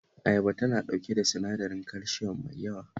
Ayaba tana ɗauke da sinadarin kalsiyom mai yawa